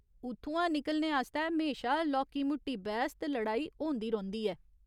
उत्थुआं निकलने आस्तै म्हेशा लौह्की मुट्टी बैह्स ते लड़ाई होंदी रौंह्दी ऐ।